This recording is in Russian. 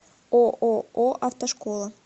ооо автошкола